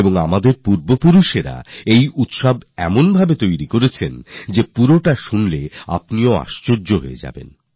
আর আমাদের পূর্বজরা এটি এমনভাবে রচনা করেছেন যে গোটা বিষয়টা শুনলে আপনারা অবাক হবেন